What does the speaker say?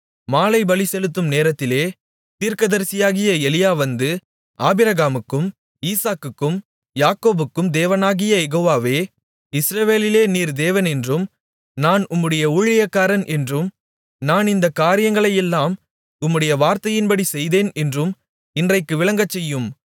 மாலைபலி செலுத்தும் நேரத்திலே தீர்க்கதரிசியாகிய எலியா வந்து ஆபிரகாமுக்கும் ஈசாக்குக்கும் யாக்கோபுக்கும் தேவனாகிய யெகோவாவே இஸ்ரவேலிலே நீர் தேவன் என்றும் நான் உம்முடைய ஊழியக்காரன் என்றும் நான் இந்தக் காரியங்களையெல்லாம் உம்முடைய வார்த்தையின்படிச்செய்தேன் என்றும் இன்றைக்கு விளங்கச்செய்யும்